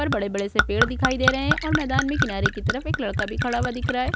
और बड़े बड़े से पेड़ दिखाई दे रहे हैं और मैदान में किनारे की तरफ एक लड़का भी खड़ा हुआ दिख रहा है।